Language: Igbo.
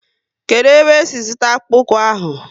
Kedụ ebe e si zụta akpụkpu ahụ?